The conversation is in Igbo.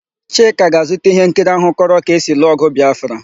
Chika ga-azụta íhénkiri áhụ̀ kọrọ ka esi lụọ ọ̀gụ̀ Bịafra.